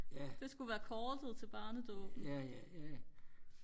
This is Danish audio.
det skulle være kortet til barnedåbet